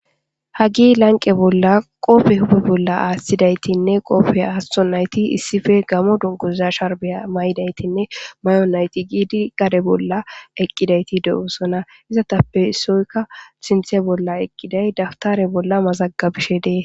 hagi lanqe bolla qoppe hupe bolla aashthidaytinne qopfiya hasto nayti issife gamo donguza sharbiya ma7idaytinne may7on nayti giidi gade bolla eqqidayti de7usona izatappe soykka sinthe bolla eqqiday dawtare bolla mazaggabishe dee